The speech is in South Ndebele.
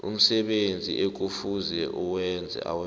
umsebenzi ekufuze awenze